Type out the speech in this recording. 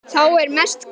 Þá er mest gaman.